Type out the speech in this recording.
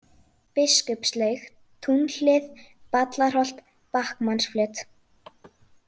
Biskupslaug, Túnhlið, Ballarholt, Bakkmannsflöt